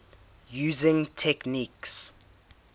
using techniques